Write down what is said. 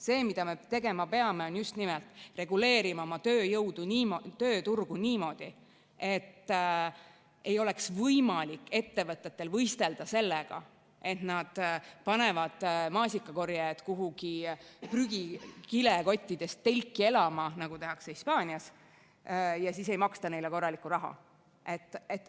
See, mida me tegema peame, on just nimelt see: reguleerima oma tööturgu niimoodi, et ettevõtetel ei oleks võimalik võistelda selle abil, et nad panevad maasikakorjaja kuhugi prügikottidest telki elama, nagu tehakse Hispaanias, ja siis ei maksa neile korralikku raha.